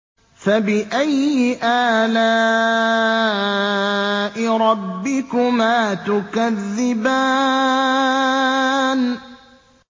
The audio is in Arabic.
فَبِأَيِّ آلَاءِ رَبِّكُمَا تُكَذِّبَانِ